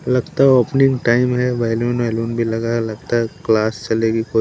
लगता है opening time है भी ल गया लगता है क्लास चलेगी--